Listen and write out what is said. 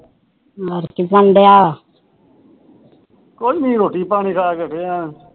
ਕੁਛ ਨੀ ਰੋਟੀ ਪਾਣੀ ਖਾਕੇ ਪਿਆ